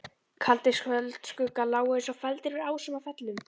Kaldir kvöldskuggar lágu eins og feldir yfir ásum og fellum.